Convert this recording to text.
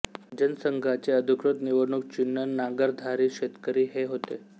जनसंघाचे अधिकृत निवडणूक चिन्ह नांगरधारी शेतकरी हे होते